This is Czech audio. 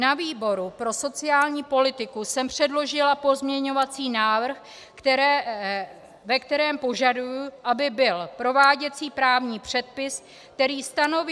Na výboru pro sociální politiku jsem předložila pozměňovací návrh, ve kterém požaduji, aby byl prováděcí právní předpis, který stanoví...